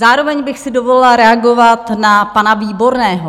Zároveň bych si dovolila reagovat na pana Výborného.